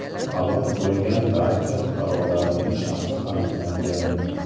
Halok bo‘lgan barcha fuqarolarning shaxsi aniqlangan.